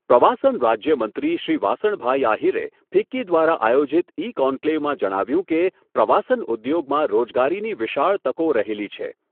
પ્રવાસન રાજ્યમંત્રી શ્રી વાસણભાઈ આહીરે ફિક્કી દ્વારા આયોજીત ઇકોન્કલેવમાં જણાવ્યુંં કે, પ્રવાસન ઉદ્યોગમાં રોજગારીની વિશાળ તકો રહેલી છે.